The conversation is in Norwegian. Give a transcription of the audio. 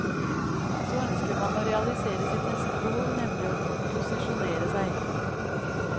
Så ønsker man å realisere sitt neste behov, nemlig å posisjonere seg.